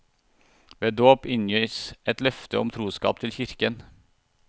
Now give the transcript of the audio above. Ved dåp inngis et løfte om troskap til kirken.